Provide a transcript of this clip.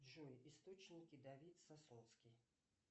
джой источники давид сасунский